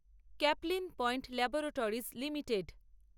Caplin Point Laboratories limited